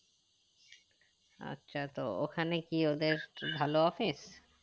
আচ্ছা তো ওখানে কি ওদের ভালো office